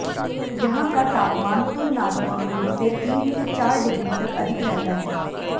यहां का तापमान तुलनात्मक रूप से तीन से चार डिग्री तक अधिक रहता है